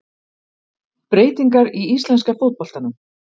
Breytingar í íslenska fótboltanum